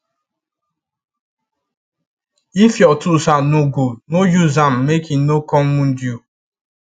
if your tools hand no go no use am make e no come wound you